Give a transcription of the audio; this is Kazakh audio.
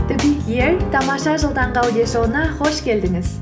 тамаша жыл таңғы аудиошоуына қош келдіңіз